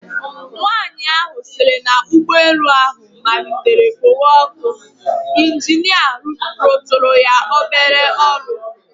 Nwanyị ahụ sịrị na ụgbọelu ha matlitere kpowe ọkụ, ịnjinịa rụtụrụ ya obere ọrụ